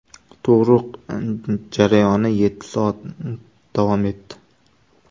Tug‘ruq jarayoni yetti soat davom etdi.